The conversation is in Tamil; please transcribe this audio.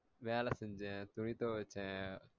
வேல செஞ்சேன் துணி தொவச்சே